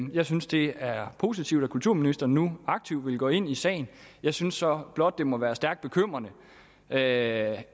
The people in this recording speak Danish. jeg synes det er positivt at kulturministeren nu aktivt vil gå ind i sagen jeg synes så blot at det må være stærkt bekymrende at